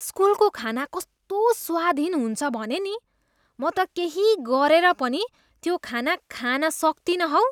स्कुलको खाना कस्तो स्वादहीन हुन्छ भने नि, म त केही गरेर पनि त्यो खाना खान सक्तिनँ हौ।